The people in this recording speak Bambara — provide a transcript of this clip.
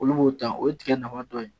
Olu b'o ta o ye tigɛ nafa dɔ ye.